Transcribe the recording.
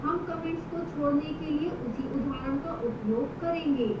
हम comments को छोड़ने के लिए उसी उदाहरण का उपयोग करेंगे